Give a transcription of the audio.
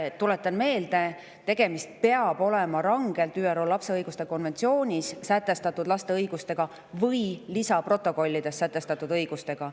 Tuletan meelde, et tegemist peab olema rangelt ÜRO lapse õiguste konventsioonis või selle lisaprotokollides sätestatud õigustega.